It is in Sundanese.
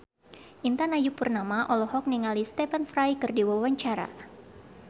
Intan Ayu Purnama olohok ningali Stephen Fry keur diwawancara